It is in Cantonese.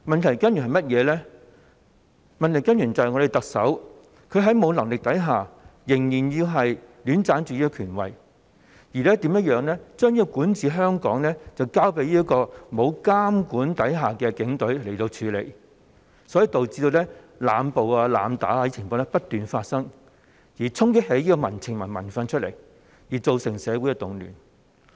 就是我們的特首沒有能力，但仍然戀棧權位，把管治香港的工作交給不受監管的警隊處理，導致濫捕、濫打等情況不斷發生，從而激起民情、民憤，造成社會動亂。